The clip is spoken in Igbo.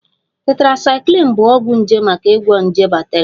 Tetracycline bụ ọgwụ nje maka ịgwọ nje bakteria